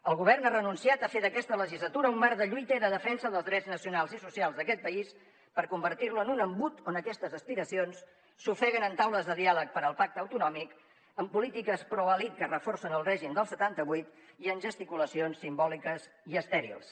el govern ha renunciat a fer d’aquesta legislatura un marc de lluita i de defensa dels drets nacionals i socials d’aquest país per convertir lo en un embut on aquestes aspiracions s’ofeguen en taules de diàleg per al pacte autonòmic en polítiques proelit que reforcen el règim del setanta vuit i en gesticulacions simbòliques i estèrils